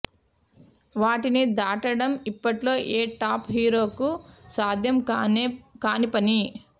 వాటిని దాటడం ఇప్పట్లో ఏ టాప్ హీరోకు సాధ్యం కాని పని